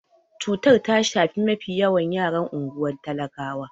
Cutar ta shafi mafi yawan yaran unguwar talakawan.